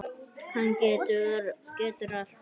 Hann getur allt.